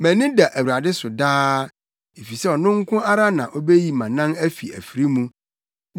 Mʼani da Awurade so daa, efisɛ ɔno nko ara na obeyi mʼanan afi afiri mu.